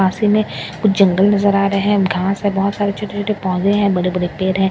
पासी में कुछ जंगल नजर आ रहे हैं घास है बहुत सारे छोटे छोटे पौधे हैं बड़े बड़े पेड़ हैं --